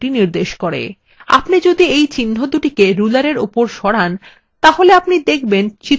আপনি যদি এই ​​চিহ্নদুটিকে ruler এর ওপর সরান তাহলে আপনি দেখবেন চিত্রটি সেই অনুসারে পরিবর্তিত হচ্ছে